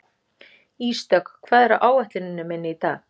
Ísdögg, hvað er á áætluninni minni í dag?